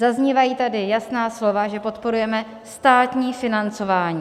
Zaznívají tady jasná slova, že podporujeme státní financování.